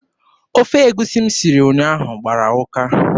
Ofe egusi m siri ụnyaahụ gbara ụka.